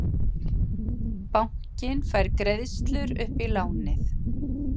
Bankinn fær greiðslur upp í lánið